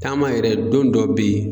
Taama yɛrɛ don dɔ be ye